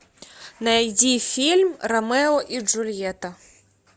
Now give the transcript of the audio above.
найди фильм ромео и джульетта